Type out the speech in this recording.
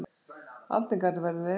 Aldingarður verður eyðimörk.